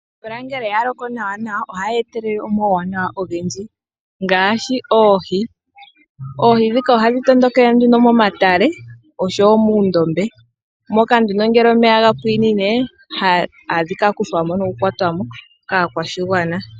Omvula ngele ya loko nawa nawa, ohayi etelele omauwanawa ogendji, ngaashi oohi. Oohi ndhika ohadhi tondokele nduno momatale oshowo muundombe, moka nduno ngele omeya ga pwiinine hadhi ka kuthwa mo nokukwatwa mo kaakwashigwana.